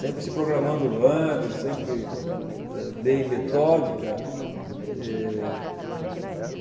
Sempre se programando antes, sempre, eh, bem metódica e